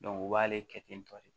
u b'ale kɛ ten tɔ de